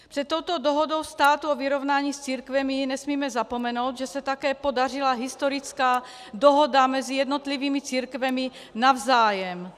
Před touto dohodou státu o vyrovnání s církvemi nesmíme zapomenout, že se také podařila historická dohoda mezi jednotlivými církvemi navzájem.